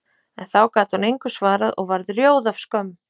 En þá gat hún engu svarað og varð rjóð af skömm.